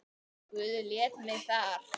Guð lét mig þar.